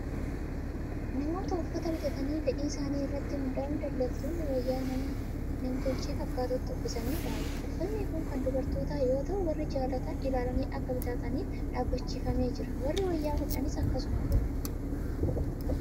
Namoota uffata bitatan fedhii isaanii irratti hundaa'uun daldaltoonni wayyaa nama nam-tolchee fakkaatutti uffisanii dhaabu. Uffatni kun kan dubartootaa yoo ta'u, warri jaalatan ilaalanii akka bitataniif dhaabbachiifamee jira. Warri wayyaa hodhanis akkasuma godhu!